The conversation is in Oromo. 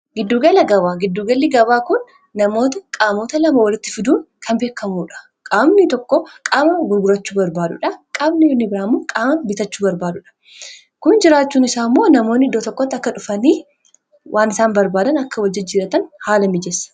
giddugala gabaa giddugalli gabaa kun namoota qaamota lama walitti fiduun kan beekamuudha qaabni toko qaama gurgurachuu barbaadudha qaabni uni biraamu qaama bitachuu barbaadudha kun jiraachuu isaa immoo namoonni iddoo tokkotta akka dhufanii waan isaan barbaadan akka wajjijjiratan haala mijessa